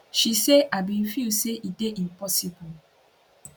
she say i bin feel say e dey impossible